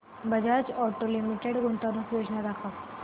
Bajaj auto limited गुंतवणूक योजना दाखव